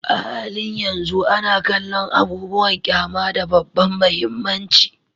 A halin yanzu ana kallon abubuwan ƙyama da babban mahimmanci